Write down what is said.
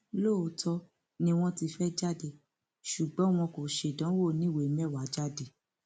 lóòótọ ni wọn ti fẹẹ jáde ṣùgbọn wọn kò ṣèdánwò oníwèé mẹwàá jáde